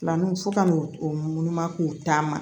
Filanuw fo ka n'u munu munu ma k'u taa ma